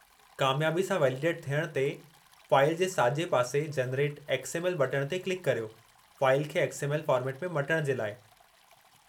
कामयाबी सां वेलीडेटु थियण ते, फ़ाइल जे साॼे पासे "जेनेरेट एक्स. एम. एल." बटणु ते क्लिकु करियो, फ़ाइलु खे एक्स. एम. एल. फ़ोर्मेटु में मटण जे लाइ।